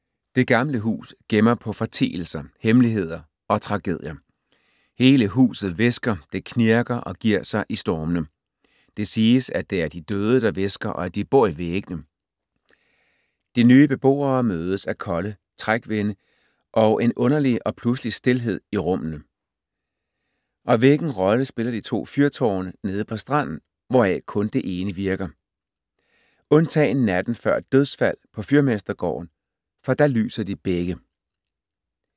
Det gamle hus gemmer på fortielser, hemmeligheder og tragedier. Hele huset hvisker, det knirker og giver sig i stormene. Det siges, at det er de døde, der hvisker og at de bor i væggene. De nye beboere mødes af kolde trækvinde og en underlig og pludselig stilhed i rummene. Og hvilken rolle spiller de to fyrtårne nede på stranden, hvoraf kun det ene virker? Undtagen natten før et dødsfald på fyrmestergården, for da lyser de begge.